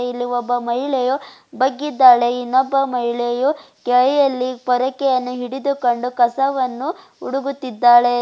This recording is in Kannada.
ಇಲ್ಲಿ ಒಬ್ಬ ಮಹಿಳೆಯು ಬಗ್ಗಿದ್ದಾಳೆ ಇನ್ನೊಬ್ಬ ಮಹಿಯಳು ಕೈಯಲ್ಲಿ ಪೊರಕೆಯನ್ನು ಹಿಡಿದುಕೊಂಡು ಕಸವನ್ನು ಹುಡುಗುತಿದ್ದಾಳೆ.